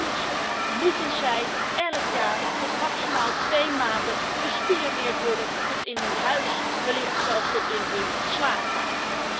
Om dat te toetsen worden zij elk jaar tot maximaal twee maanden bespioneerd tot in hun huis, wellicht zelfs tot in hun slaapkamer.